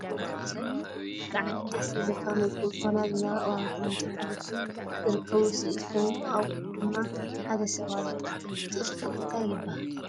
ኣዝዩ ብጣዕሚ ደስ ዝብለካን ውቅብ ዝኮነ ኣዝመረ እዋን ክረምቲ ሓሊፉ ዝርከብ ውፅኢት ኮይኑ ኣብኡ ድማ ሓደ ሰብ ኣሎ እቱይ እክሊ እንታይ ይብሃል?